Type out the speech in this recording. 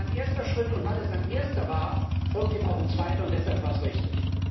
Es war ein erster Schritt, und weil es ein erster war, folgt dem auch ein zweiter, und deshalb war es richtig.